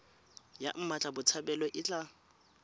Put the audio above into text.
ya mmatla botshabelo e tla